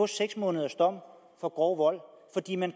seks måneder for grov vold fordi man